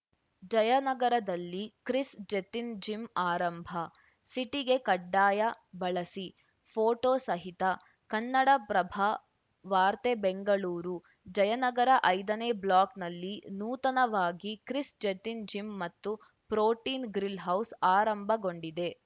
ಜಯನಗರದಲ್ಲಿ Chris ಜೆತಿನ್‌ gym ಆರಂಭ ಸಿಟಿಗೆ ಕಡ್ಡಾಯ ಬಳಸಿಫೋಟೋ ಸಹಿತ ಕನ್ನಡಪ್ರಭ ವಾರ್ತೆ ಬೆಂಗಳೂರು ಜಯನಗರ ಐದನೇ ಬ್ಲಾಕ್‌ನಲ್ಲಿ ನೂತನವಾಗಿ ಕ್ರಿಸ್‌ ಜೆತಿನ್‌ ಜಿಮ್‌ ಮತ್ತು ಪ್ರೋಟೀನ್‌ ಗ್ರಿಲ್‌ಹೌಸ್‌ ಆರಂಭಗೊಂಡಿದೆ